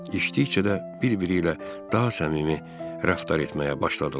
İçdikcə də bir-biri ilə daha səmimi rəftar etməyə başladılar.